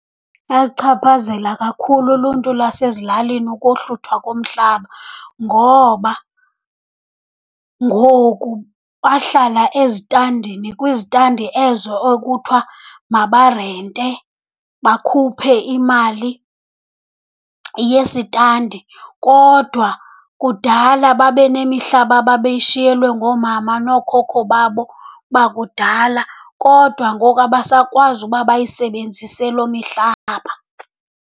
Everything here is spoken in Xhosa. Yalichaphazela kakhulu uluntu lwasezilalini ukohluthwa komhlaba ngoba ngoku bahlala ezitandini, kwizitandi ezo okuthiwa mabarente, bakhuphe imali yesitandi. Kodwa kudala babe nemihlaba ababeyishiyelwe ngoomama nookhokho babo bakudala kodwa ngoku abasakwazi uba bayisebenzise loo mihlaba.